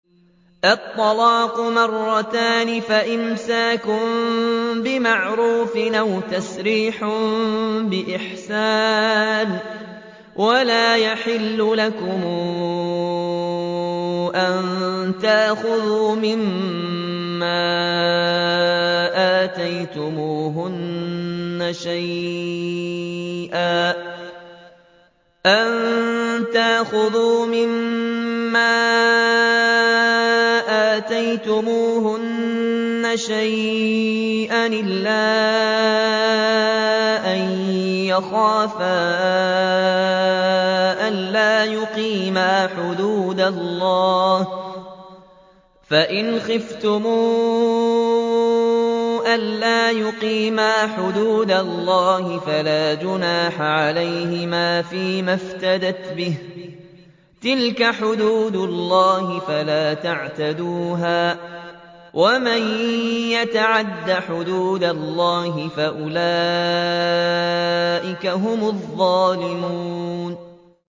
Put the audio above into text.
الطَّلَاقُ مَرَّتَانِ ۖ فَإِمْسَاكٌ بِمَعْرُوفٍ أَوْ تَسْرِيحٌ بِإِحْسَانٍ ۗ وَلَا يَحِلُّ لَكُمْ أَن تَأْخُذُوا مِمَّا آتَيْتُمُوهُنَّ شَيْئًا إِلَّا أَن يَخَافَا أَلَّا يُقِيمَا حُدُودَ اللَّهِ ۖ فَإِنْ خِفْتُمْ أَلَّا يُقِيمَا حُدُودَ اللَّهِ فَلَا جُنَاحَ عَلَيْهِمَا فِيمَا افْتَدَتْ بِهِ ۗ تِلْكَ حُدُودُ اللَّهِ فَلَا تَعْتَدُوهَا ۚ وَمَن يَتَعَدَّ حُدُودَ اللَّهِ فَأُولَٰئِكَ هُمُ الظَّالِمُونَ